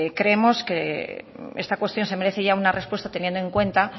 creemos que esta cuestión se merece ya una respuesta teniendo en cuenta